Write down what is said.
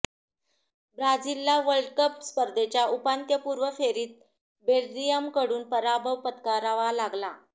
ब्राझीलला World Cup स्पर्धेच्या उपांत्यपूर्व फेरीत बेल्जियमकडून पराभव पत्करावा लागला